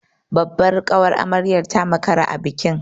Babbar ƙawar amaryar ta makara a bikin.